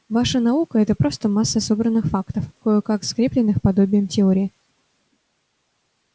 ваша наука-это просто масса собранных фактов кое-как скреплённых подобием теории